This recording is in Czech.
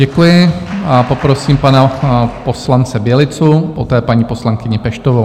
Děkuji a poprosím pana poslance Bělicu, poté paní poslankyni Peštovou.